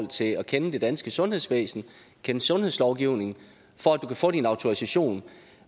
til at kende det danske sundhedsvæsen kende sundhedslovgivningen for at du kan få din autorisation